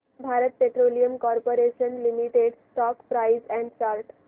Bharat petroleum corporation limited stock price and chart